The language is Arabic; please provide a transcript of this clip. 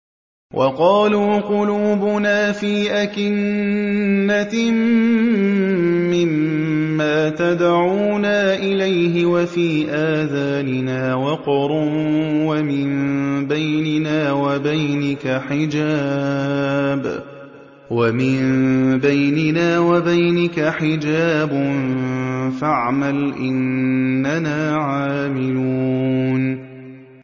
وَقَالُوا قُلُوبُنَا فِي أَكِنَّةٍ مِّمَّا تَدْعُونَا إِلَيْهِ وَفِي آذَانِنَا وَقْرٌ وَمِن بَيْنِنَا وَبَيْنِكَ حِجَابٌ فَاعْمَلْ إِنَّنَا عَامِلُونَ